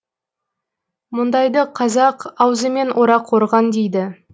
мұндайды қазақ аузымен орақ орған дейді